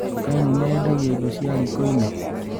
Nduka ĩno nĩyendagia indo cia rikoinĩ?